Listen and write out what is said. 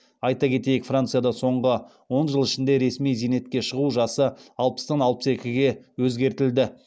айта кетейік францияда соңғы он жыл ішінде ресми зейнетке шығу жасы алпыстан алпыс екіге өзгертілді